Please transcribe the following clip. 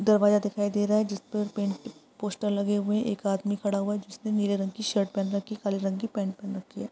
दरवाजा दिखाई दे रहा है। जिसपे पेन्ट पोस्टर लगे हुऐ है। एक आदमी खड़ा हुआ है। जिसने नीले रंग की शर्ट पहन रखी है। काले रंग की पेंट पहन रखी है।